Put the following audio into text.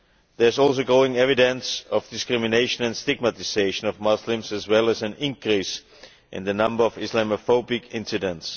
There is also growing evidence of discrimination and stigmatisation of Muslims as well as an increase in the number of Islamophobic incidents.